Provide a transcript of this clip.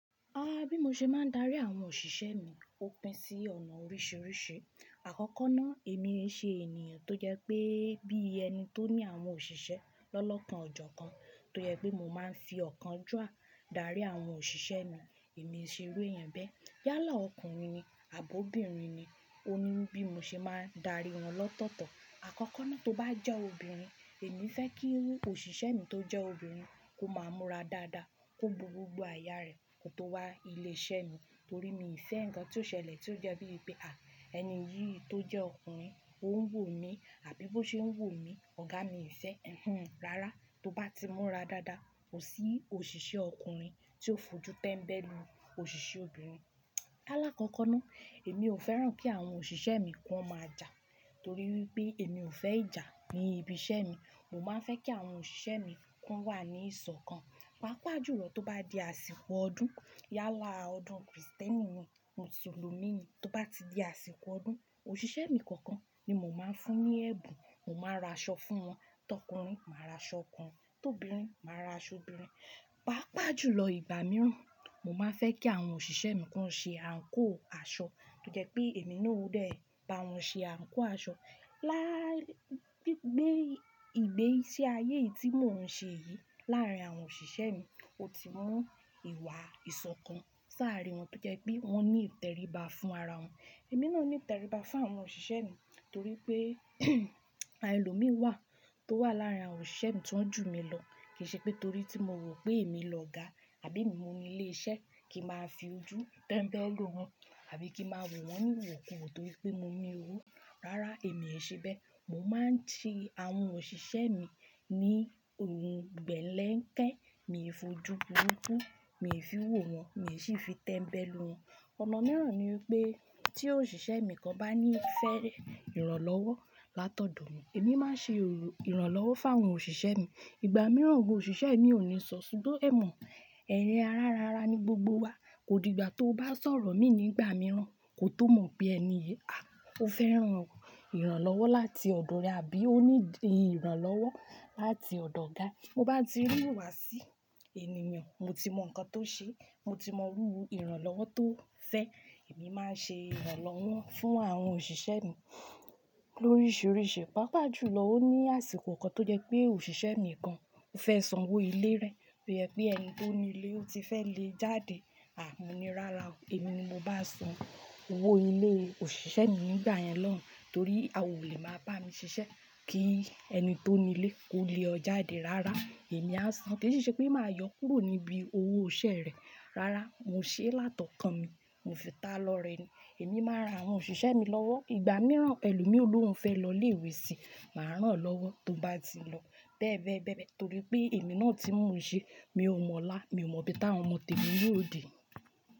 Rárá, bí mo ṣe máa ń darí àwọn òṣìṣẹ́ mi ó pín sí ọ̀nà oríṣìíríṣìí. Àkọ́kọ́ ná, èmi e ṣe ènìyàn tó jẹ́ pé bí ẹni tó ní àwọn òṣìṣẹ́ lọ́lọ́kan ọ̀jọ̀ọ̀kan, tó jẹ́ pé mo máa ń fi ọ̀kan jù à darí àwọn òṣìṣẹ́ mi. Èmi e ṣe ru ẹyan bẹ́. Yálà ọkùnrin ni àbobìnrin ni, ó ní bí mo ṣe máa ń darí wọn lọ́tọ̀ọ̀tọ̀. Àkọ́kọ́ ná tó bá jẹ́ obìnrin, èmi fẹ́ kí òṣìṣẹ́ mi tó jẹ́ obìnrin kó máa múra dáadáa, kó bu gbogbo aya rẹ̀ kó tó wá ilé iṣẹ́ mi. Torí mi i fé ǹkan tí ó ṣẹlẹ̀ tí ó jẹ́ bíi pé, à ẹni yìí tó jẹ́ ọkùnrin ó ń wò mí àbí bó ṣe ń wò mí, ọ̀gá mi i fé. Ehm, rárá, tó bá ti múra dáadáa, kò sí òṣìṣẹ́ ọkùnrin tí ó fojú tẹ́mbẹ́lú òṣìṣẹ́ obìnrin. Lálákọ́kọ́ ná, èmi ò fẹ́ràn kí àwọn òṣìṣẹ́ mi kọ n máa jà torí wipé èmi ò fẹ́ ìjà ní ibi iṣẹ́ mi. Mo máa ń fẹ́ kí àwọn òṣìṣẹ́ mi kọ n wà ní ìsọ̀kan. Pápá jùlọ tó bá di àsìkò ọdún, yálà ọdún Krisìtẹ́nì ni, Mùsùlùmí ni, tó bá ti di àsìkò ọdún, òṣìṣẹ́ mi kọ̀ọ̀kan ni mo máa ń fún ní ẹ̀bùn, mo máa ra aṣọ fún wọn. Tọkùnrin, màá ra aṣọ ọkùnrin, tó obìnrin, màá ra aṣọ obìnrin. Pápá jùlọ ìgbà mìíràn, mo máa ń fẹ́ kí àwọn òṣìṣẹ́ mi kọ ṣe àǹkóò aṣọ tó jẹ pé èmi náà ó dè bá wọn ṣe àǹkóò aṣọ. Lá gigbé ìgbé sí ayé yìí tí mò ń ṣe yìí láàárín àwọn òṣìṣẹ́ mi, ó ti mú ìwà ìsọ̀kan sárin wọn tó jẹ́ pé wọ́n ní ìtẹríba fún ara wọn. Èmi náà ní ìtẹríba fún àwọn òṣìṣẹ́ mi torí pé àwọn ẹlòmíì wà tó wà láàrín àwọn òṣìṣẹ́ mi tó ń jù mi lọ. Kì í ṣe pé torí tí mo rò pé èmi lọ̀gá àbí emi mo ni ilé iṣẹ́ kí máa fi ojú tẹ́mbẹ́lú wọn àbí kí máa wò wọ́n wòkùwò torí pé mo ni owó. Rárá, èmi e ṣe bẹ́. Mo máa ń tì àwọn òṣìṣẹ́ mi ní ohun gbẹ́lẹ̀ ńkẹ́, mi ò fojú burúkú, mi ò fi wò wọ́n, mi ò sì fi tẹ́mbẹ́lú wọn. Ọ̀nà mìíràn ni wipé tí òṣìṣẹ́ mi kan bá ní fẹ́rẹ̀ ìrànlọ́wọ́ látọ̀dọ̀ mi, èmi máa ṣe ìrànlọ́wọ́ fún àwọn òṣìṣẹ́ mi. Ìgbà mìíràn gan òṣìṣẹ́ mi ò ní sọ, ṣùgbọ́n ẹ mọ̀ ẹ̀rẹ̀ arán ara ni gbogbo wa. Kò di ìgbà tí o bá sọ̀rọ̀ mi ní ìgbà mìíràn, kò tó mọ̀ pé ẹni yìí, à ó fẹ́ran ìrànlọ́wọ́ láti ọ̀dọ̀ rẹ àbí ó needi ìrànlọ́wọ́ láti ọ̀dọ̀ ọ̀gá. Mo bá ti rí ìwà sí ènìyàn, mo ti mọ̀ nǹkan tó ṣe é, mo ti mọ iru ìrànlọ́wọ́ tó fẹ́, èmi máa n ṣe ìrànlọ́wọ́ fún àwọn òṣìṣẹ́ mi lóríṣiríṣi. Pápá jùlọ ó ní àsìkò kan tó jẹ́ pé òṣìṣẹ́ mi kan ó fẹ́ sanwó ilé rẹ̀ tó jẹ́ pé ẹni tó ni ilé ó ti fẹ́ lé e jáde. À mo ní rárá o, èmi ni mo bá san owó ilé òṣìṣẹ́ mi nígbà yẹn lọ́hùn torí a ò lè máa bá mi ṣiṣẹ́ kí ẹni tó ni ilé kó lé o jáde. Rárá, èmi á san. Kì í si ṣe pé màá yọ kúrò níbi owó iṣẹ́ rẹ̀. Rárá, mo ṣe é látọ̀kan mi, mo fi tá lọ rẹ̀ ni. Èmi máa ran àwọn òṣìṣẹ́ mi lọ́wọ́. Ìgbà mìíràn ẹ̀lomi olóhùn fẹ́ lọ ilé ìwé sí, màá rán an lọ́wọ́ tó bá ti lọ. Bẹ́ẹ̀ bẹ́ẹ̀ bẹ́ẹ̀ bẹ́ẹ̀ torí pé èmi náà ti mo un ṣe, mi ò mọ̀lá, mi ò mọ bí táwọn ọmọ tẹ̀mi na ó de.